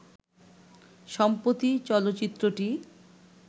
সম্প্রতি চলচ্চিত্রটি